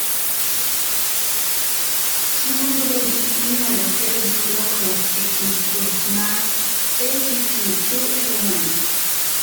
Tuo Brody inyalo kel gi lokruok e kido mar ATP2A1